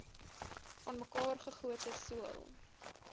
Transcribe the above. aanmekaar gegote sool